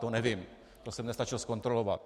To nevím, to jsem nestačil zkontrolovat.